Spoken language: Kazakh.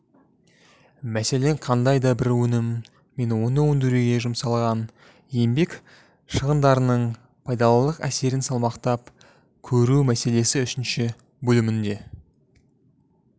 мәселен қандай да бір өнім мен оны өндіруге жұмсалған еңбек шығындарының пайдалылық әсерін салмақтап көру мәселесі үшінші бөлімінде